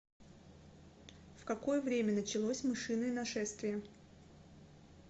в какое время началось мышиное нашествие